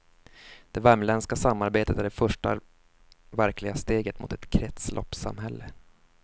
Det värmländska samarbetet är det första verkliga steget mot ett kretsloppssamhälle.